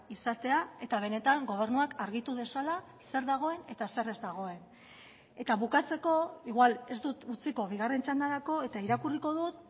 izatea eta benetan gobernuak argitu dezala zer dagoen eta zer ez dagoen eta bukatzeko igual ez dut utziko bigarren txandarako eta irakurriko dut